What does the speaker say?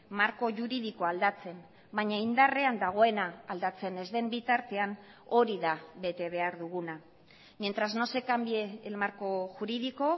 marko juridikoa aldatzen baina indarrean dagoena aldatzen ez den bitartean hori da betebehar duguna mientras no se cambie el marco jurídico